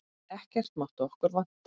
Ekkert mátti okkur vanta.